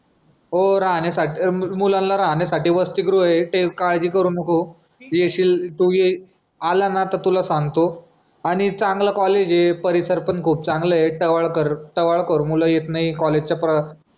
हो राहण्यासाठी मुलांना राहण्यासाठी वसतिगृह ये ते काय काळजी करू नको. येशील तू ये आला ना तर तुला सांगतो आणि चांगलं कॉलेज ये परिसर पण खूप चांगलं ये टवाळकर टवाळखोर मुलं येत नाही कॉलेज च्या प्र